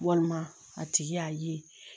Walima a tigi y'a ye